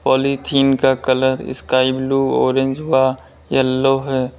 Polythene का colour sky blue orange व yellow है।